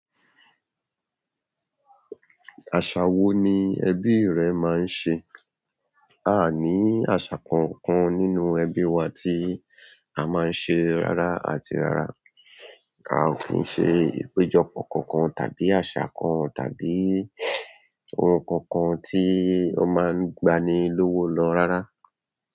Àṣà wo ni ẹbí rẹ máa ń ṣe? A ní àṣà kan kan nínú ẹbí wa tí a máa ń ṣe rárá àti rárá. A ò kì n ṣe ìpéjọpọ̀ kankan, tàbí àṣà kan, tàbí oun kankan tí o máa gbani lọ́wọ́ lọ rárá.